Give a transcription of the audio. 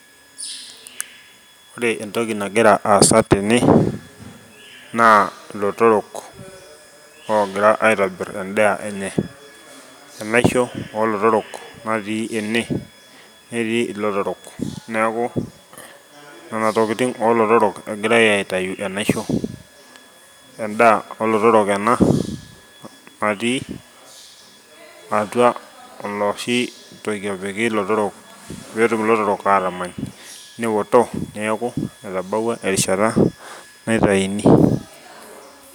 Ore entoki nagira aasa tene naa ilotorok ogira aitobir endaa enye , enaisho olotorok natii ene , netii ilotorok , niaku nena tokitin olotorok egirae aitayu enaisho , endaa olotorok ena natii atua olosho toki opik ilotorok petum anya niaku eoto netabawuo erishata naitaini.